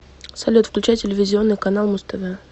салют включай телевизионный канал муз тв